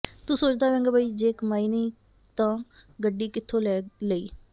ਤੂੰ ਸੋਚਦਾ ਹੋਵੇਗਾ ਬਈ ਜੇ ਕਮਾਈ ਨਹੀਂ ਤਾਂ ਗੱਡੀ ਕਿੱਥੋਂ ਲੈ ਲਈ